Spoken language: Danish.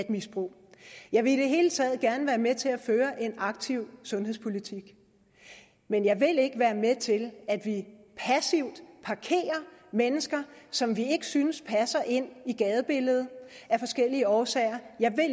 misbrug jeg vil i det hele taget gerne være med til at føre en aktiv sundhedspolitik men jeg vil ikke være med til at vi passivt parkerer mennesker som vi ikke synes passer ind i gadebilledet af forskellige årsager